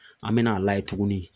An mena a layɛ tuguni